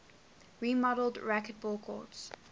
remodeled racquetball courts